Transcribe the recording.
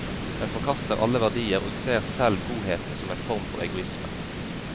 Den forkaster alle verdier og ser selv godheten som en form for egoisme.